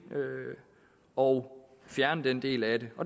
og fjerne den del af det